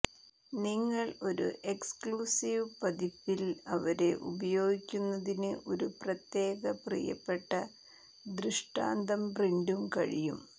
നിങ്ങൾ ഒരു എക്സ്ക്ലൂസീവ് പതിപ്പിൽ അവരെ ഉപയോഗിക്കുന്നതിന് ഒരു പ്രത്യേക പ്രിയപ്പെട്ട ദൃഷ്ടാന്തം പ്രിന്റും കഴിയും